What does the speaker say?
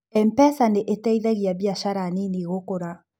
M-pesa nĩ ĩteithagia biacara nini gũkũra.